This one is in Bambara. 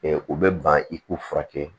u bɛ ban i k'u furakɛ